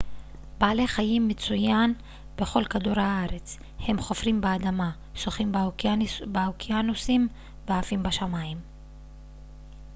בעלי חיים מצויין בכל כדור הארץ הם חופרים באדמה שוחים באוקיינוסים ועפים בשמיים